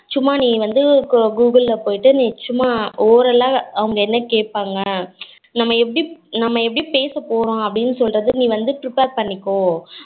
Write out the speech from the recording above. சும்மா நீ வந்து google ல போய்ட்டு நீ சும்மா oral ஆ அவங்க என்ன கேப்பாங்கா நம்ம எப்படி நம்ம எப்படி பேச போறோம் அப்படினு சொல்லுறதுக்கு நீ வந்து prepare பன்னிக்கோ